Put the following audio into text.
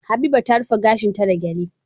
Habiba ta rufe gashin ta da gele